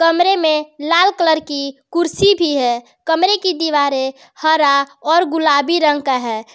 कमरे में लाल कलर की कुर्सी भी है कमरे की दीवारें हरा और गुलाबी रंग का है।